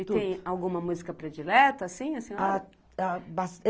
E tem alguma música predileta, assim, a senhora?